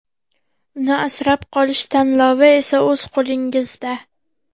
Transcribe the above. Uni asrab qolish tanlovi esa o‘z qo‘lingizda.